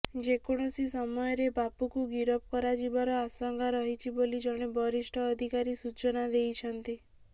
ଯେ କୌଣସି ସମୟରେ ବାପୁକୁ ଗିରଫ କରାଯିବାର ଆଶଙ୍କା ରହିଛି ବୋଲି ଜଣେ ବରିଷ୍ଠ ଅଧିକାରୀ ସୂଚନା ଦେଇଛନ୍ତି